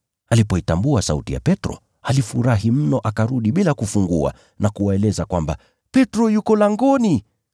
Alipoitambua sauti ya Petro, alifurahi mno akarudi bila kufungua na kuwaeleza kwamba, “Petro yuko langoni!”